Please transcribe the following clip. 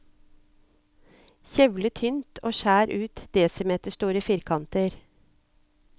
Kjevle tynt og skjær ut desimeterstore firkanter.